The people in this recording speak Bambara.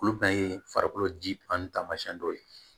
Olu bɛɛ ye farikolo ji an tamasiyɛn dɔw ye